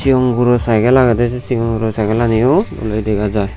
sigon guro saigel agedey sei sigon guro segelaniyo doley dega jai.